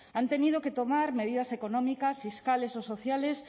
han tenido que tomar medidas económicas fiscales o sociales